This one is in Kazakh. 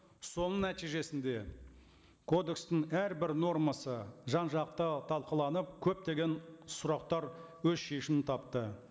соның нәтижесінде кодекстің әрбір нормасы жан жақты талқыланып көптеген сұрақтар өз шешімін тапты